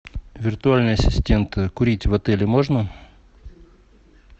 виртуальный ассистент курить в отеле можно